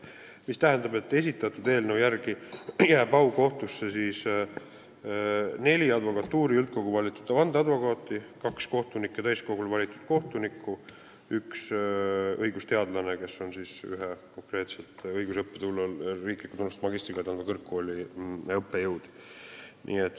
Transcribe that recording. See tähendab, et esitatud eelnõu järgi jääb aukohtusse neli advokatuuri üldkogul valitud vandeadvokaati, kaks kohtunike täiskogul valitud kohtunikku ja üks õigusteadlane, kes on õiguse õppesuunal vähemalt riiklikult tunnustatud magistrikraadi andva kõrgkooli õppejõud.